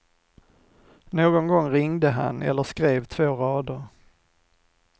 Någon gång ringde han eller skrev två rader.